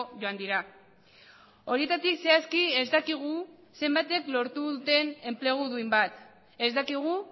joan dira horietatik zehazki ez dakigu zenbatek lortu duten enplegu duin bat ez dakigu